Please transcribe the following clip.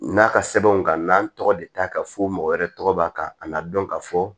N'a ka sɛbɛnw ka n'an tɔgɔ de ta ka fɔ mɔgɔ wɛrɛ tɔgɔ b'a kan an ka dɔn ka fɔ